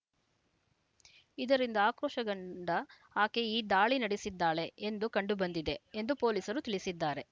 ಇದರಿಂದ ಆಕ್ರೋಶಗೊಂಡ ಆಕೆ ಈ ದಾಳಿ ನಡೆಸಿದ್ದಾಳೆ ಎಂದು ಕಂಡುಬಂದಿದೆ ಎಂದು ಪೊಲೀಸರು ತಿಳಿಸಿದ್ದಾರೆ